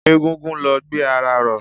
Egungun ló gbé ara ró.